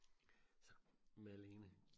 Malene